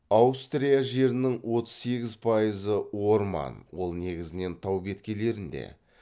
аустрия жерінің отыз сегіз пайызы орман ол негізінен тау беткейлерінде